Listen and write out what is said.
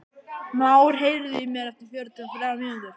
Már, heyrðu í mér eftir fjörutíu og þrjár mínútur.